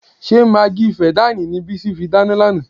Ṣé magí fẹ̀dáànì ni Bísí fi dáná lánàá?